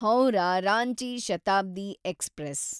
Howrah Ranchi Shatabdi express